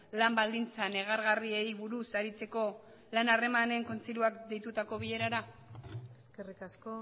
lan baldintza negargarriei buruz aritzeko lan harremanen kontseiluak deitutako bilerara eskerrik asko